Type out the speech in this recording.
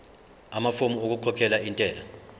amafomu okukhokhela intela